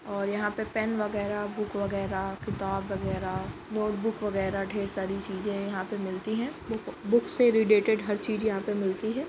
और यहाँ पे पेन वगेरा बुक वगेरा किताब वगेरा नोटबुक वगेरा ढेर सारी चीज़ें यहाँ पे मिलती हैं बुक बुक से रिलेटेड हर चीज़ मिलती है ।